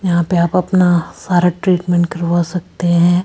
यहां पे आप अपना सारा ट्रीटमेंट करवा सकते हैं।